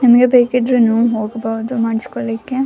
ನಿಮ್ಗೆ ಬೇಕಿದ್ರೆ ನೀವೂ ಹೋಗಬಹುದು ಮಾಡಿಸ್ಕೊಳ್ಳಿಕ್ಕ .